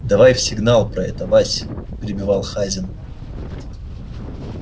давай в сигнал про это вась перебивал хазин